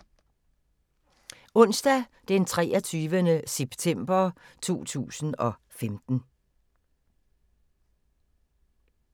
Onsdag d. 23. september 2015